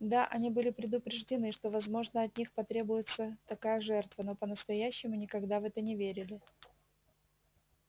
да они были предупреждены что возможно от них потребуется такая жертва но по-настоящему никогда в это не верили